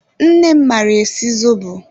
Nne m maara esi zobo